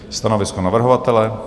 Stanovisko navrhovatele?